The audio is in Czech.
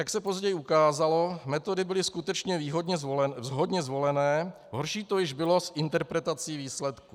Jak se později ukázalo, metody byly skutečně vhodně zvolené, horší to již bylo s interpretací výsledků.